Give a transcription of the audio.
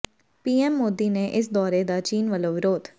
PM Modi ਦੇ ਇਸ ਦੌਰੇ ਦਾ ਚੀਨ ਵੱਲੋਂ ਵਿਰੋਧ